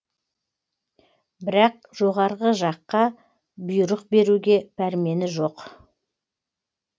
бірақ жоғары жаққа бұйрық беруге пәрмені жоқ